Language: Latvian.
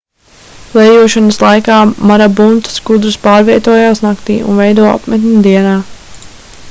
klejošanas laikā marabunta skudras pārvietojas naktī un veido apmetni dienā